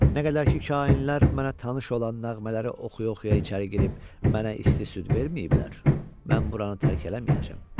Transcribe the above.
Nə qədər ki, kainlər mənə tanış olan nəğmələri oxuya-oxuya içəri girib mənə isti süd verməyiblər, mən buranı tərk eləməyəcəm.